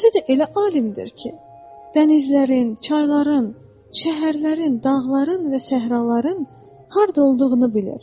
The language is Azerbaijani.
Özü də elə alimdir ki, dənizlərin, çayların, şəhərlərin, dağların və səhraların harda olduğunu bilir.